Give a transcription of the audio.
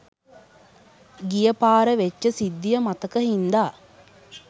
ගියපාර වෙච්ච සිද්ධිය මතක හින්ද